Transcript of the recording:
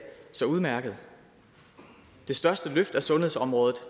så udmærket det største løft af sundhedsområdet